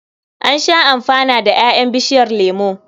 An sha amfana da ƴaƴan bishiyar lemo.